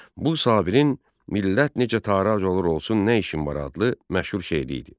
Bu Sabirin Millət necə tarac olur olsun nə işim var adlı məşhur şeiri idi.